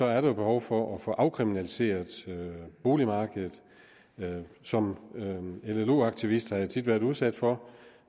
er der behov for at få afkriminaliseret boligmarkedet som llo aktivist har jeg tit været udsat for